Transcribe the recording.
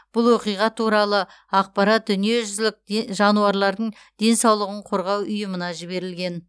бұл оқиға туралы ақпарат дүниежүзілік де жануарлардың денсаулығын қорғау ұйымына жіберілген